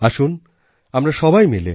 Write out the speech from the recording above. আসুন আমরা সবাই মিলে